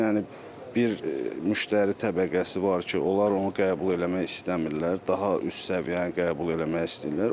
Yəni bir müştəri təbəqəsi var ki, onlar onu qəbul eləmək istəmirlər, daha üst səviyyəni qəbul eləmək istəyirlər.